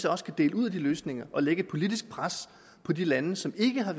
også kan dele ud af de løsninger og lægge et politisk pres på de lande som ikke har